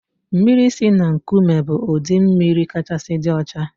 Mmiri si na nkụme bụ ụdị mmiri kachasị dị ọcha